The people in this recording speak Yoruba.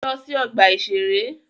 Lọ sí ọgbà-ìṣeré!